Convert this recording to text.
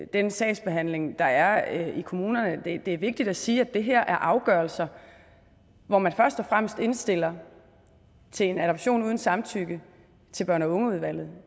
den sagsbehandling der er i kommunerne det er vigtigt at sige at det her er afgørelser hvor man først og fremmest indstiller til en adoption uden samtykke til børn og unge udvalget og